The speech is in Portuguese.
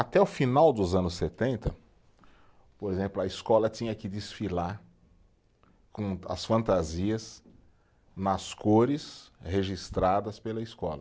Até o final dos anos setenta, por exemplo, a escola tinha que desfilar com as fantasias nas cores registradas pela escola.